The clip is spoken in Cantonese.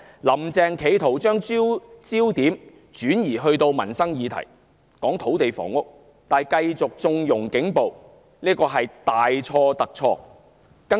"林鄭"將焦點集中到土地房屋問題上，企圖以民生議題轉移視線，但卻繼續縱容警暴，這是大錯特錯的。